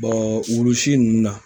Ɛɛ wulu wulusi nunnu na